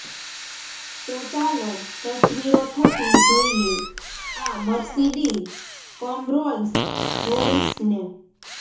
તો ચાલો તસવીરો થકી જોઇએ આ મર્સીડિઝ કમ રોલ્સ રોય્સને